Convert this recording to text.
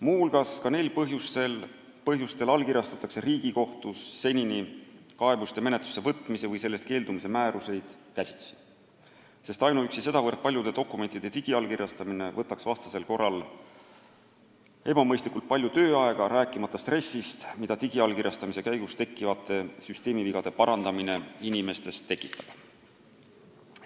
Muu hulgas ka neil põhjustel allkirjastatakse Riigikohtus senini kaebuste menetlusse võtmise või sellest keeldumise määruseid käsitsi, sest sedavõrd paljude dokumentide digiallkirjastamine võtaks ebamõistlikult palju tööaega, rääkimata stressist, mida digiallkirjastamise käigus tekkivate süsteemivigade parandamine inimestes tekitab.